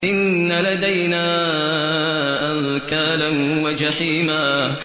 إِنَّ لَدَيْنَا أَنكَالًا وَجَحِيمًا